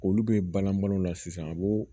Olu bɛ balan balo la sisan a b'o